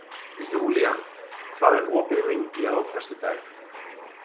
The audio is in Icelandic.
Júlían, hvað er opið lengi á föstudaginn?